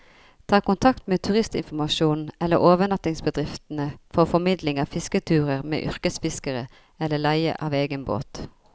Ta kontakt med turistinformasjonen eller overnattingsbedriftene for formidling av fisketurer med yrkesfiskere, eller leie av egen båt.